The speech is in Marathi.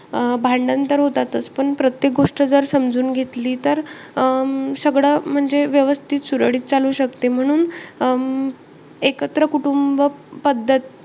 अं भांडण तर होतातंच. पण प्रत्येक गोष्ट जर समजून घेतली. तर अं सगळं म्हणजे व्यवस्थित, सुरळीत चालू शकते. म्हणून एकत्र कुटुंब पद्धत,